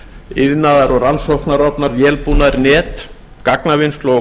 iðnaðar og rannsóknarofnar net gagnavinnslu og